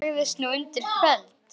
Matti lagðist nú undir feld.